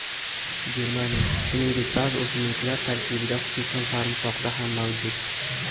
Germaniy, shuningdek, ba’zi o‘simliklar tarkibida, xususan, sarimsoqda ham mavjud.